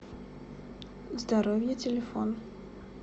здоровье телефон